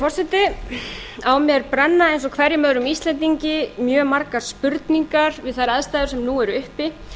forseti á mér brenna eins og hverjum öðrum íslendingi mjög margar spurningar við þær aðstæður sem nú eru uppi